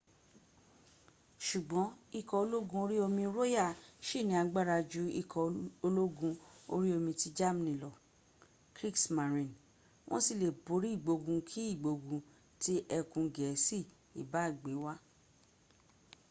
ṣùgbọ́n ikọ̀ ológun orí omi royal ṣì ní agbára ju ikọ̀ ológun orí omi ti germany lọ kriegsmarine” wọ́n sì le borí ìgbógun kí ìgbógun tí ẹkùn gẹ̀ẹ́sì ìbá gbé wá